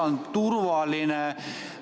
Kas kõik on turvaline?